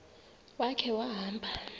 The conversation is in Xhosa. ya khe wahamba